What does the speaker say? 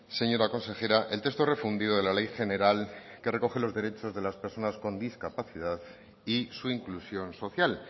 señora consejera el texto refundido de la ley general que recoge los derechos de las personas con discapacidad y su inclusión social